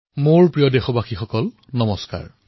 মোৰ মৰমৰ দেশবাসীসকল নমস্কাৰ